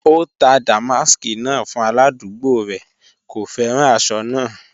O tà dàmàsk náà fún aládùgbò rẹ, kò fẹ́ran àṣọ náà.